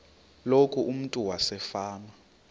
loku umntu wasefama